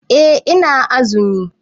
Eh ina azumi.